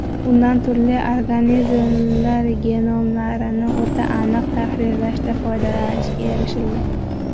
Undan turli organizmlar genomlarini o‘ta aniq tahrirlashda foydalanishga erishilgan.